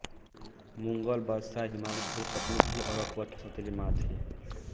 मुग़ल बादशाह हुमायूँ की दूसरी पत्नी थी और अकबर की सोतेली माँ थीं